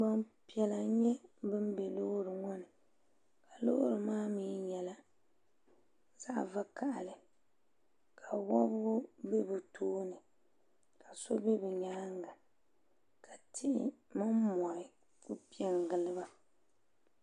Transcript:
Gbampiɛla n-nyɛ ban be duu ŋɔ puuni ka loori maa nyɛla zaɣ' vakahili ka wɔbigu be bɛ tooni ka so be bɛ nyaaŋa ka tihi mini mɔri kuli pe n-gili ba